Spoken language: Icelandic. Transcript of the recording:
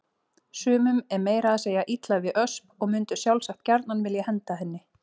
Sumum er meira að segja illa við Ösp og mundu sjálfsagt gjarnan vilja henda henni.